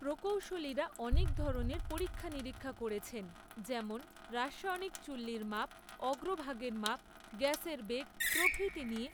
প্রকৌশলীরা অনেক ধরনের পরীক্ষা নিরীক্ষা করেছেন, যেমন রাসায়নিক চুল্লির মাপ, অগ্রভাগের মাপ, গ্যাসের বেগ প্রভৃতি নিয়ে,